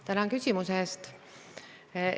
Tänan küsimuse eest!